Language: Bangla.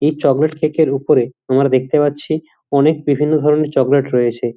এই চকলেট কেক এর উপরে আমরা দেখতে পাচ্ছি অনেক বিভিন্ন ধরণের চকলেট রয়েছে।